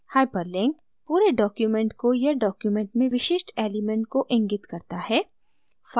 hyperlink पूरे document को या document में विशिष्ट element को इंगित करता है